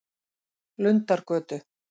Lundargötu